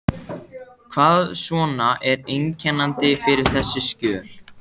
Hvað svona er einkennandi fyrir þessi skjöl?